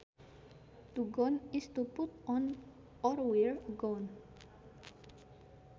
To gown is to put on or wear a gown